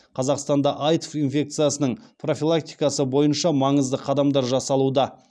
қазақстанда аитв инфекциясының профилактикасы бойынша маңызды қадамдар жасалуда